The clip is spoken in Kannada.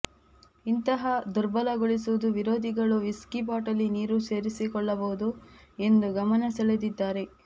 ಇಂತಹ ದುರ್ಬಲಗೊಳಿಸುವುದು ವಿರೋಧಿಗಳು ವಿಸ್ಕಿ ಬಾಟಲಿ ನೀರು ಸೇರಿಕೊಳ್ಳಬಹುದು ಎಂದು ಗಮನಸೆಳೆದಿದ್ದಾರೆ